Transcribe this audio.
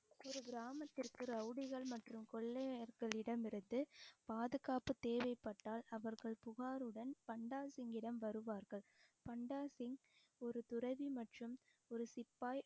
ஒரு கிராமத்திற்கு ரவுடிகள் மற்றும் கொள்ளையர்களிடம் இருந்து பாதுகாப்பு தேவைப்பட்டால் அவர்கள் புகாருடன் பண்டா சிங்கிடம் வருவார்கள் பண்டாசிங் ஒரு துறவி மற்றும் ஒரு சிப்பாய்